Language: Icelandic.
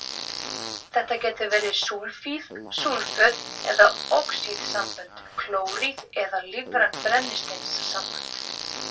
Þetta geta verið súlfíð, súlföt eða oxíðsambönd, klóríð eða lífræn brennisteinssambönd.